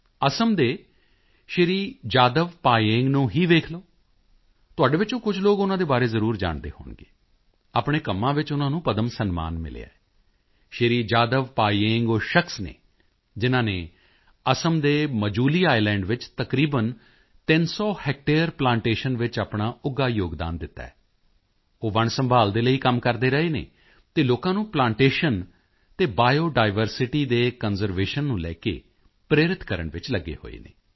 ਅਸਾਮ ਦੇ ਸ਼੍ਰੀ ਜਾਦਵ ਪਾਯੇਂਗ ਨੂੰ ਹੀ ਦੇਖ ਲਓ ਤੁਹਾਡੇ ਵਿੱਚੋਂ ਕੁਝ ਲੋਕ ਉਨ੍ਹਾਂ ਦੇ ਬਾਰੇ ਜ਼ਰੂਰ ਜਾਣਦੇ ਹੋਣਗੇ ਆਪਣੇ ਕੰਮਾਂ ਵਿੱਚ ਉਨ੍ਹਾਂ ਨੂੰ ਪਦਮ ਸਨਮਾਨ ਮਿਲਿਆ ਹੈ ਸ਼੍ਰੀ ਜਾਦਵ ਪਾਯੇਂਗ ਉਹ ਸ਼ਖਸ ਹਨ ਜਿਨ੍ਹਾਂ ਨੇ ਅਸਾਮ ਦੇ ਮਜੂਲੀ ਆਈਲੈਂਡ ਵਿੱਚ ਤਕਰੀਬਨ 300 ਹੈਕਟੇਅਰ ਪਲਾਂਟੇਸ਼ਨ ਵਿੱਚ ਆਪਣਾ ਉੱਘਾ ਯੋਗਦਾਨ ਦਿੱਤਾ ਹੈ ਉਹ ਵਣ ਸੰਭਾਲ਼ ਦੇ ਲਈ ਕੰਮ ਕਰਦੇ ਰਹੇ ਹਨ ਅਤੇ ਲੋਕਾਂ ਨੂੰ ਪਲਾਂਟੇਸ਼ਨ ਅਤੇ ਬਾਇਓਡਾਇਵਰਸਿਟੀ ਦੇ ਕੰਜ਼ਰਵੇਸ਼ਨ ਨੂੰ ਲੈ ਕੇ ਪ੍ਰੇਰਿਤ ਕਰਨ ਵਿੱਚ ਵੀ ਲੱਗੇ ਹੋਏ ਹਨ